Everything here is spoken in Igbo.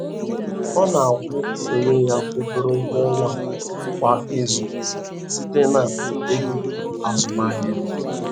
Ọ na-akwụ onwe ya obere ụgwọ ọnwa kwa izu, site na ego azụmaahịa